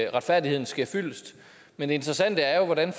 at retfærdigheden sker fyldest men det interessante er jo hvordan